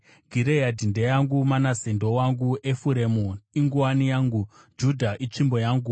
Gireadhi ndeyangu, Manase ndowangu; Efuremu inguwani yangu, Judha itsvimbo yangu.